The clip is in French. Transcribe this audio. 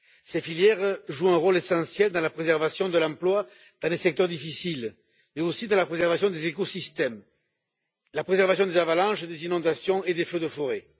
Ces filières jouent un rôle essentiel dans la préservation de l'emploi dans des secteurs difficiles mais aussi dans la préservation des écosystèmes et dans la prévention des avalanches, des inondations et des feux de forêt.